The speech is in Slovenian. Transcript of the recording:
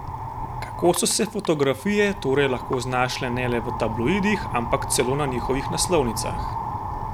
Kako so se fotografije torej lahko znašle ne le v tabloidih, ampak celo na njihovih naslovnicah?